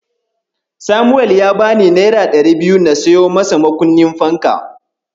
Samuel ya bani naira ɗari biyu na siyo masa makunnin fanka.